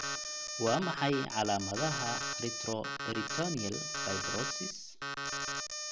Waa maxay calaamadaha retroperitoneal fibrosis?